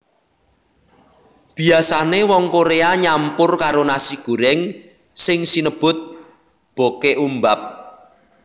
Biasane wong Korea nyampur karo nasi goreng sing sinebut bokeumbap